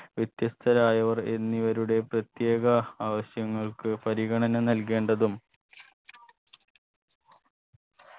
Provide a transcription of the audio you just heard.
വ്യത്യസ്തരായവർ എന്നിവരുടെ പ്രത്യേക ആവശ്യങ്ങൾക്ക് പാരിഗണന നൽകേണ്ടതും